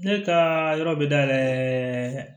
Ne ka yɔrɔ bɛ dayɛlɛ